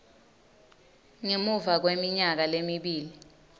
ngemuva kweminyaka lemibili